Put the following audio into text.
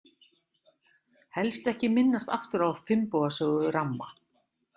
Helst ekki minnast aftur á Finnboga sögu ramma.